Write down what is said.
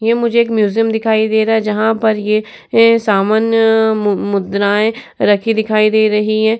ये मुझे एक म्यूजियम दिखाई दे रहा है जहाँ पर ये सामान्य मुद्राए रखी दिखाई दे रही है।